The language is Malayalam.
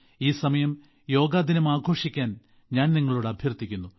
ഈ സമയം യോഗ ദിനം ആഘോഷിക്കാൻ ഞാൻ നിങ്ങളോട് അഭ്യർത്ഥിക്കുന്നു